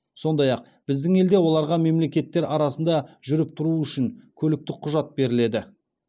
сондай ақ біздің елде оларға мемлекеттер арасында жүріп тұруы үшін көліктік құжат беріледі